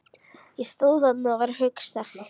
Ég stóð þarna og var að hugsa.